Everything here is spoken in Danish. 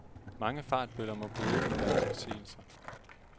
Mange fartbøller må bøde for deres forseelser.